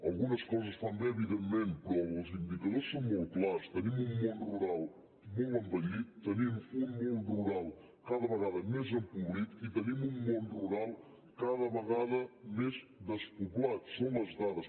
algunes coses fan bé evidentment però els indicadors són molt clars tenim un món rural molt envellit tenim un món rural cada vegada més empobrit i tenim un món rural cada vegada més despoblat són les dades